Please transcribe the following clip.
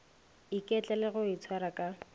iketla le go itshwara ka